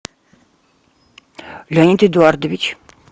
леонид эдуардович